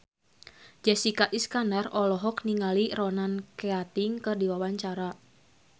Jessica Iskandar olohok ningali Ronan Keating keur diwawancara